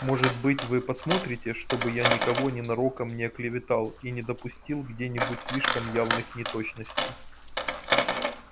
может быть вы посмотрите чтобы я никого ненароком не оклеветал и не допустил где-нибудь слишком явных неточностей